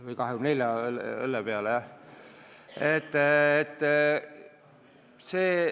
Või 24 õllepudeli järele?